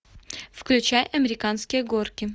включай американские горки